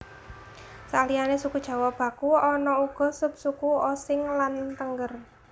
Saliyané suku Jawa baku ana uga subsuku Osing lan Tengger